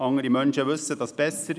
Andere Menschen wissen dies besser;